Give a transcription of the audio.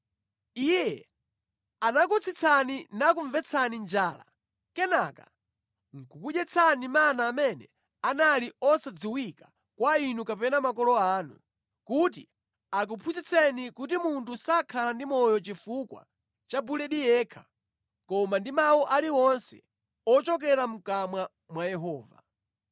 Iye anakutsitsani nakumvetsani njala kenaka nʼkukudyetsani mana amene anali osadziwika kwa inu kapena makolo anu, kuti akuphunzitseni kuti munthu sadzakhala ndi moyo ndi chakudya chokha koma ndi mawu aliwonse ochokera mʼkamwa mwa Yehova.